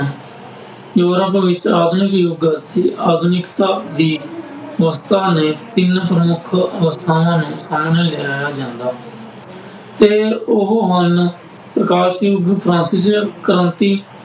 Europe ਵਿੱਚ ਆਧੁਨਿਕ ਯੁੱਗ ਦੀ ਆਧੁਨਿਕਤਾ ਦੀ ਮਹੱਤਤਾ ਨੇ ਤਿੰਨ ਪ੍ਰਮੁੱਖ ਪ੍ਰਥਾਵਾਂ ਨੂੰ ਸਾਹਮਣੇ ਲਿਆਂਇਆਂ ਜਾਂਦਾ ਹੈ। ਅਤੇ ਉਹ ਹਨ ਪ੍ਰਕਾਸ਼ ਯੁੱਗ ਫਰਾਂਸੀਸੀ ਕ੍ਰਾਂਤੀ